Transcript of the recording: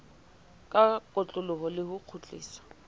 ka kotloloho le ho kgutliswa